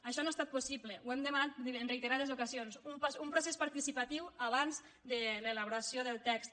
això no ha estat possible ho hem demanat en reite·rades ocasions un procés participatiu abans de l’ela·boració del text